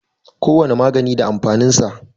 Kowane magani da amfanin sa.